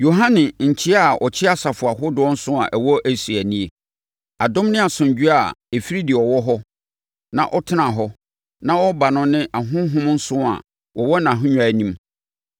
Yohane, Nkyea a ɔkyea asafo ahodoɔ nson a ɛwɔ Asia no nie: Adom ne asomdwoeɛ a ɛfiri deɛ ɔwɔ hɔ, na ɔtenaa hɔ, na ɔreba no ne ahonhom nson a wɔwɔ nʼahennwa anim,